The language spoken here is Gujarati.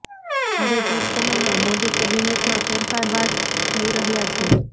હવે ટૂંક સમયમાં મોદી કેબીનેટમાં ફેરફાર વા જઈ રહ્યાં છે